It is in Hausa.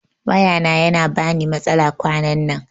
Waya na yana bani matsala kwanan nan